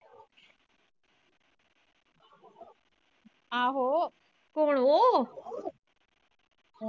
ਆਹੋ ਕੌਣ ਉਹ